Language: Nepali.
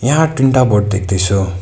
यहाँ तीनटा बोट देख्दैछु।